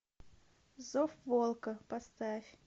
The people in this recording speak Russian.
зов волка поставь